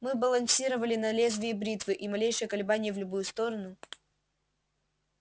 мы балансировали на лезвии бритвы и малейшее колебание в любую сторону